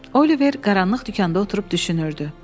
Oliver qaranlıq dükanda oturub düşünürdü.